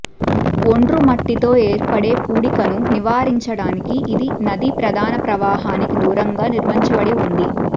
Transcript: ఒండ్రుమట్టితో ఏర్పడే పూడికను నివారించడానికి ఇది నది ప్రధాన ప్రవాహానికి దూరంగా నిర్మించబడి ఉంది